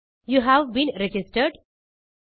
you have been registered